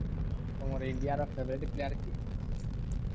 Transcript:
ତମର ଇଣ୍ଡିଆର favourite player କିଏ?